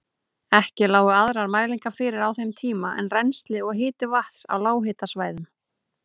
Ekki lágu aðrar mælingar fyrir á þeim tíma en rennsli og hiti vatns á lághitasvæðunum.